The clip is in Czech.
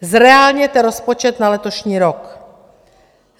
Zreálněte rozpočet na letošní rok!